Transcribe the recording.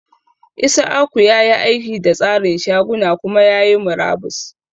Isiaku ya yi aiki da tsarin shaguna kuma ya yi murabus.